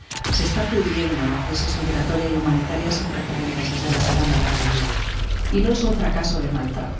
Se está pudriendo la crisis migratoria y humanitaria, sin precedentes desde la Segunda Guerra Mundial, y no es un fracaso de Malta.